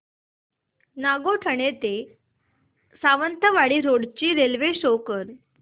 नागोठणे ते सावंतवाडी रोड ची railway show कर